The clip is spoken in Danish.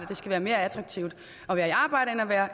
det skal være mere attraktivt at være i arbejde end at være